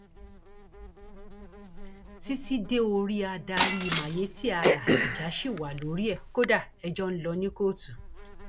títí dé orí adarí mayetti allah ìjà ṣì wà lórí ẹ kódà ẹjọ ń lọ ní kóòtù